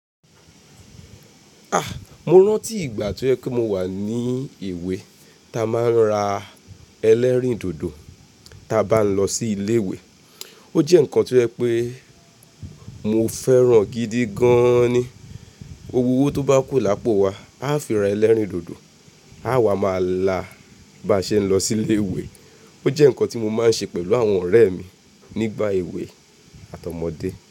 A! Mo rántí ìgbà tó yẹ pe mo wà ní ìwé ta ma ń ra ẹlẹ́rìndòdò ta bá ń lọ sí ilé ìwé. O jẹ́ nǹkan tó yẹ́ pé mo fẹ́ràn gidi gan ni. Òwó tó bá kú lápò wa, a fi ra ẹlẹ́rìndòdò, àwa ma la bá ṣe ń lọ sí ilé ìwé. O jẹ́ nǹkan tí mo máa n ṣe pẹ̀lú àwọn ọ̀rẹ́ mi nígbà èwe àtọmọdé.